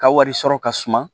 Ka wari sɔrɔ ka suma